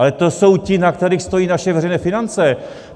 Ale to jsou ti, na kterých stojí naše veřejné finance!